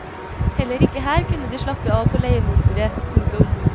Heller ikke her kunne de slappe av for leiemordere. punktum